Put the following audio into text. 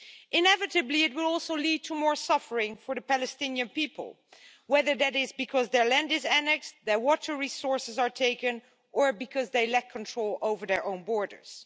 Inevitably, it will also lead to more suffering for the Palestinian people, whether that is because their land is annexed, their water resources are taken or because they lack control over their own borders.